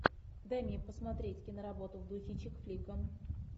дай мне посмотреть киноработу в духе чик флика